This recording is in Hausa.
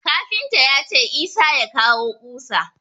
Kafinta ya ce Isah ya kawo ƙusa.